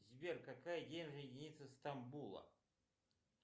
сбер какая денежная единица стамбула